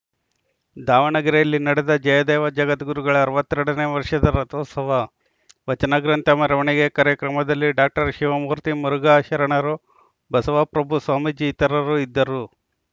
ದಾವಣಗೆರೆಯಲ್ಲಿ ನಡೆದ ಜಯದೇವ ಜಗದ್ಗುರುಗಳ ಅರವತ್ತ್ ಎರಡ ನೇ ವರ್ಷದ ರಥೋತ್ಸವ ವಚನ ಗ್ರಂಥ ಮೆರವಣಿಗೆ ಕಾರ್ಯಕ್ರಮದಲ್ಲಿ ಡಾಕ್ಟರ್ ಶಿವಮೂರ್ತಿ ಮುರುಘಾ ಶರಣರು ಬಸವ ಪ್ರಭು ಸ್ವಾಮೀಜಿ ಇತರರು ಇದ್ದರು